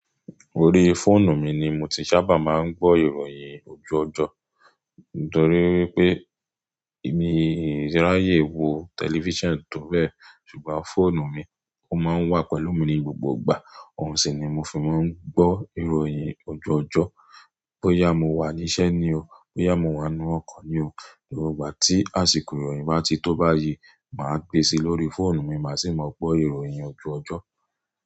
Orí fóònù mi ni mo ti sábà máa ń gbọ́ ìròyìn oju ojọ. Nítorí pé èmi ráyè wo tẹlifíṣàn tó bẹ́ẹ̀, ṣùgbọ́n fóònù mi, ó máa ń wà pẹ̀lú mi ní gbogbo ìgbà. Ohun sì ni mo fi máa ń gbọ́ ìròyìn oju ojọ. Bóyá mo wà níṣẹ́ ni o, bóyá mo wà ńú ọkọ̀ ni o, gbogbo igba tí àsìkò ìròyìn bá ti tó báyìí, màá gbé e si lórí fóònù mi, màá sì máa gbọ́ ìròyìn ojoojọ.